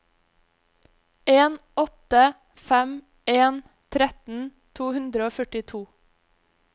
en åtte fem en tretten to hundre og førtito